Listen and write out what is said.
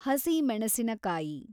ಹಸಿ ಮೆಣಸಿನಕಾಯಿ